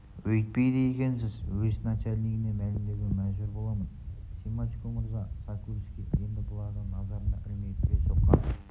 өйтпейді екенсіз уезд начальнигіне мәлімдеуге мәжбүр боламын семашко мырза сокольский енді бұларды назарына ілмей дүре соққан